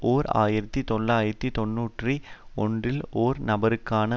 ஓர் ஆயிரத்தி தொள்ளாயிரத்து தொன்னூற்றி ஒன்றில் ஒரு நபருக்கான